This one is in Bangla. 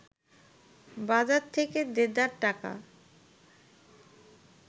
বাজার থেকে দেদার টাকা